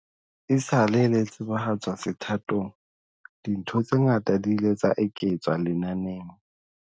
Esale le tsebahatswa sethathong, dintho tse ngata di ile tsa eketswa lenaneng.